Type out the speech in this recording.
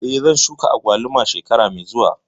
Eh, zan shuka agwaluma shekara mai zuwa